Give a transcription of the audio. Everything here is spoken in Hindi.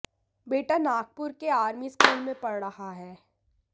बेटा नागपुर के आर्मी स्कूल में पढ़ रहा है